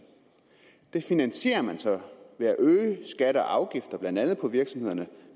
det finansierer man så ved at øge skatter og afgifter på blandt andet virksomhederne